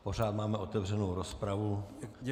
Pořád máme otevřenu rozpravu.